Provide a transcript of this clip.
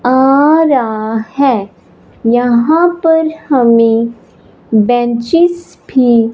आ रहा है यहां पर हमे बेंचेस भी--